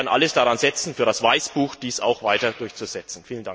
Wir werden alles daran setzen, für das Weißbuch dies auch weiter durchzusetzen.